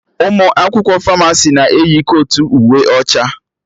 Ụmụ akwụkwọ Famasi na-eyi kotu uwe ọcha